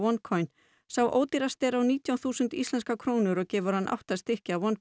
OneCoin sá ódýrasti er á nítján þúsund íslenskar krónur og gefur hann átta stykki af